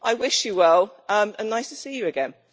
I wish you well, and nice to see you again.